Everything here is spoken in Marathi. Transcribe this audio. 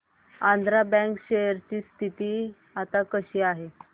आंध्रा बँक शेअर ची स्थिती आता कशी आहे